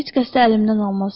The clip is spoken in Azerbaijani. Heç kəs də əlimdən almaz.